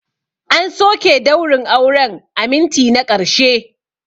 An soke daurin auren a minti na ƙarshe.